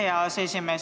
Aitäh, hea aseesimees!